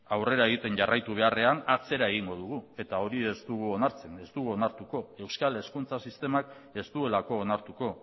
aurrera egiten jarraitu beharrean atzera egingo dugu eta hori ez dugu onartzen ez dugu onartuko euskal hezkuntza sistemak ez duelako onartuko